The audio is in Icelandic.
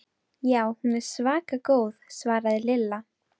Já, hún er svaka góð svaraði Lilla.